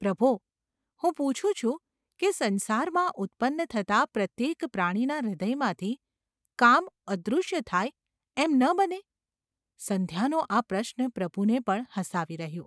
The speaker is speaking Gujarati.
‘પ્રભો ! હું પૂછું છું કે સંસારમાં ઉત્પન્ન થતા પ્રત્યેક પ્રાણીના હૃદયમાંથી કામ અદૃશ્ય થાય એમ ન બને ?’ સંધ્યાનો આ પ્રશ્ન પ્રભુને પણ હસાવી રહ્યો.